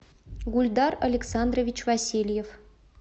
гульдар александрович васильев